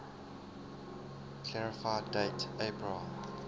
clarify date april